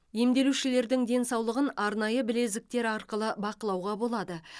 емделушілердің денсаулығын арнайы білезіктер арқылы бақылауға болады